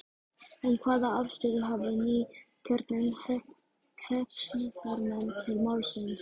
En hvaða afstöðu hafa nýkjörnir hreppsnefndarmenn til málsins?